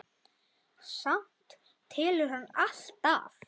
Samt telur hann alltaf.